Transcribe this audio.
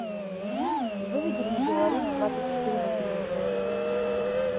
выведи мне беларусь двадцать четыре на телевизоре